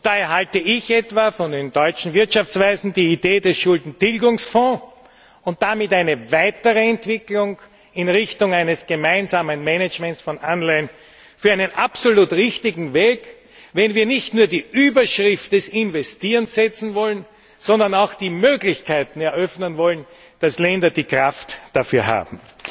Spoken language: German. Daher halte ich etwa von den deutschen Wirtschaftsweisen die Idee des Schuldentilgungsfonds und damit eine weitere Entwicklung in Richtung eines gemeinsamen Managements von Anleihen für einen absolut richtigen Weg, wenn wir nicht nur die Überschrift des Investierens setzen wollen, sondern auch die Möglichkeiten eröffnen wollen, dass Länder die Kraft dafür haben.